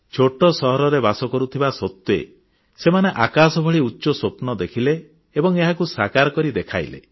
ଛୋଟ ସହରରେ ବାସ କରୁଥିବା ସତ୍ତ୍ୱେ ସେମାନେ ଆକାଶ ଭଳି ଉଚ୍ଚ ସ୍ୱପ୍ନ ଦେଖିଲେ ଏବଂ ଏହାକୁ ସାକାର କରି ଦେଖାଇଲେ